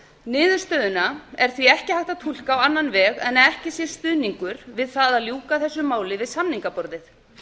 niðurstöðuna er því ekki hægt að túlka á annan veg en að ekki sé stuðningur við það að ljúka þessu máli við samningaborðið